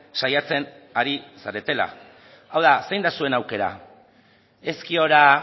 saiatzen ari zaretela hau da zein da zuen aukera ezkiora